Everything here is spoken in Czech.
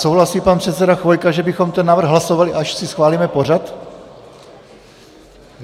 Souhlasí pan předseda Chvojka, že bychom ten návrh hlasovali, až si schválíme pořad?